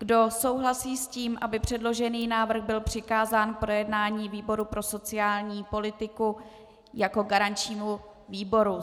Kdo souhlasí s tím, aby předložený návrh byl přikázán k projednání výboru pro sociální politiku jako garančnímu výboru?